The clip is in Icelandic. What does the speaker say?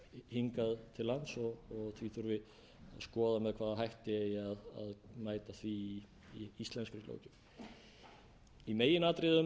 til lands og því þurfi að skoða með hvaða hætti þurfi að mæta því í íslenskri löggjöf í meginatriðum